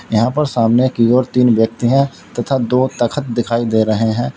यहां पर सामने की ओर तीन व्यक्ति हैं तथा दो तख्त दिखाई दे रहे हैं।